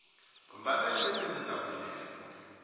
bembathe iyembe edabukileko